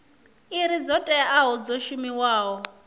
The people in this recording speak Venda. iri dzo teaho dzo shumiwaho